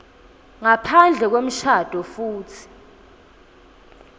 ngaphandle kwemshado futsi